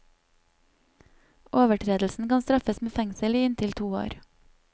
Overtredelsen kan straffes med fengsel i inntil to år.